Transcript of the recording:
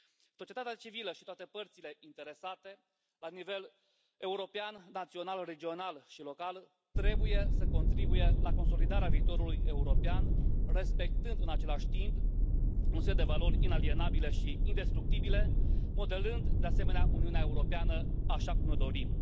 Societatea civilă și toate părțile interesate la nivel european, național, regional și local trebuie să contribuie la consolidarea viitorului european, respectând, în același timp, un set de valori inalienabile și indestructibile, modelând, de asemenea, Uniunea Europeană așa cum ne o dorim.